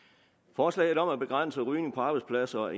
forslaget om at begrænse rygning på arbejdspladser og